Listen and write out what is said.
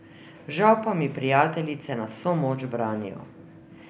Žal pa mi prijateljice na vso moč branijo.